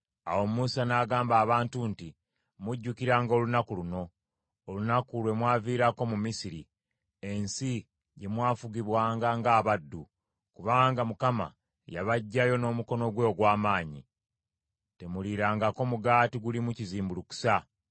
Awo Musa n’agamba abantu nti, “Mujjukiranga olunaku luno, olunaku lwe mwaviirako mu Misiri, ensi gye mwafugibwanga ng’abaddu, kubanga Mukama yabaggyayo n’omukono gwe ogw’amaanyi. Temuliirangako mugaati gulimu kizimbulukusa.